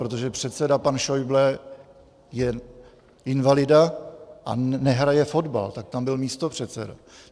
Protože předseda pan Schäuble je invalida a nehraje fotbal, tak tam byl místopředseda.